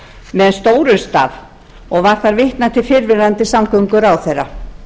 með stórum staf og var þar vitnað til fyrrverandi samgönguráðherra